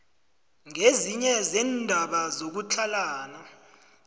kezinye zeendaba zokutlhalana